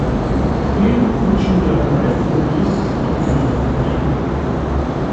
фильм учим географию вместе с ам нямом найди